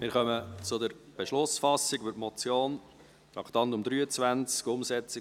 Wir kommen zur Beschlussfassung über die Motion, Traktandum 23: